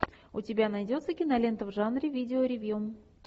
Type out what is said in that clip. у тебя найдется кинолента в жанре видео ревью